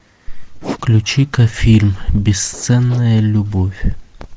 включи ка фильм бесценная любовь